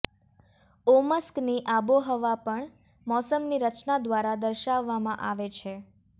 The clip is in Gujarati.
ઓમસ્કની આબોહવા પણ મોસમની રચના દ્વારા દર્શાવવામાં આવે છે